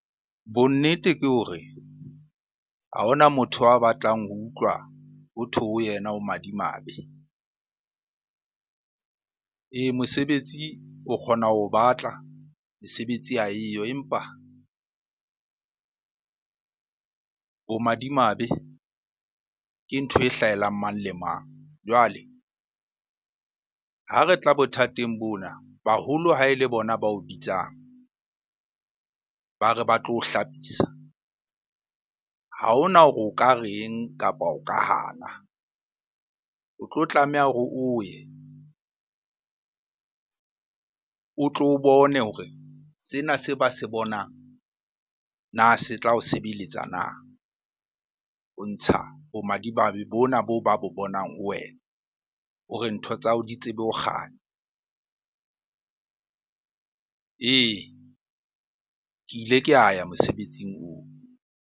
Bonnete ke hore ha hona motho a batlang ho utlwa hothwe ho yena o madimabe. Ee, mosebetsi o kgona ho batla, mesebetsi ha eyo. Empa bomadimabe ke ntho e hlahelang mang le mang. Jwale ha re tla bothateng bona, baholo ha e le bona bao bitsang ba re ba tlo o hlapisa. Ha hona hore o ka reng? Kapa o ka hana, o tlo tlameha hore o ye o tlo bone hore sena se ba se bonang na se tla o sebeletsa na? Ho ntsha bomadimabe bona boo ba bonang ho wena hore ntho tsa hao di tsebe ho kganya. Ee, ke ile ka ya mosebetsing oo.